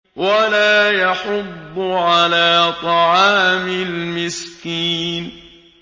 وَلَا يَحُضُّ عَلَىٰ طَعَامِ الْمِسْكِينِ